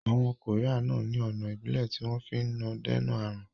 Àwọn koría náà ni ọ̀nà Ìbílẹ̀ tí wọn fi náà ń dènà aàrùn